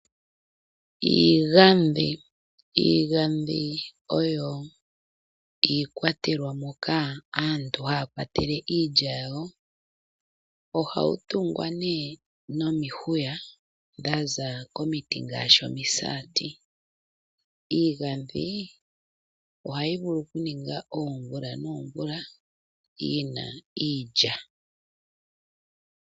Iigandhi, iigandhi oyo iikwatelwa moka aantu haya kwatele iilya yayo, ohawu tungwa nee nomihuya dhaza komiti ngaashi omisaati. Iigandhi ohayi vulu okuninga oomvula noomvula yi na iilya.